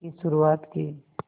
की शुरुआत की